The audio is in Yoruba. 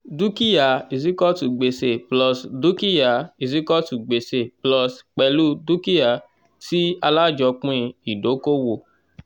dúkìá is equal to gbèsè plus dúkìá is equal to gbèsè plus pẹ̀lú dúkìá tí alájọpín ìdókòwò